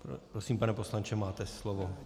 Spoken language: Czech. Prosím, pane poslanče, máte slovo.